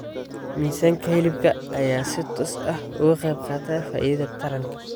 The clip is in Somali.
Miisaanka hilibka ayaa si toos ah uga qaybqaata faa'iidada taranka.